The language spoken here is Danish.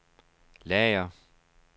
lager